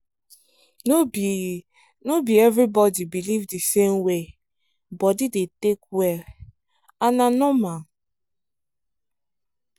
no be no be everybody believe the same way body dey take well and na normal